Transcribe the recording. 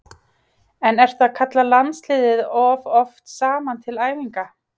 En ertu að kalla landsliðið of oft saman til æfinga?